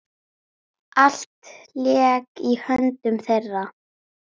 Allt lék í höndum þeirra.